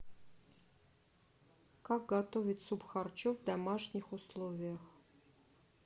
как готовить суп харчо в домашних условиях